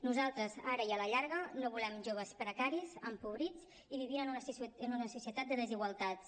nosaltres ara i a la llarga no volem joves precaris empobrits i vivint en una societat de desigualtats